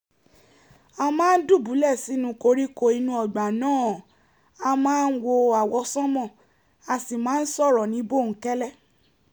a máa ń dùbúlẹ̀ sinú koríko inú ọgbà náà àá máa wo àwọsánmà a sì máa ń sọ̀rọ̀ ní bòńkẹ́lẹ́